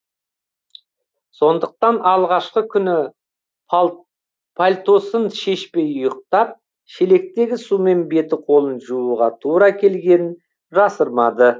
сондықтан алғашқы күні пальтосын шешпей ұйықтап шелектегі сумен беті қолын жууға тура келгенін жасырмады